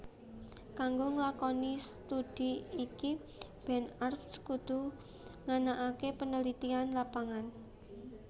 Kanggo nglakoni studhi iki Ben Arps kudu nganakaké penelitian lapangan